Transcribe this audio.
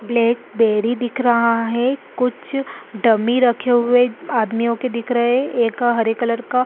black बैरी दिख रहा है कुछ डमी रखे हुए आदमियों के दिख रहै है एक हरे कलर का--